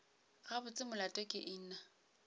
gabotse molato ke eng na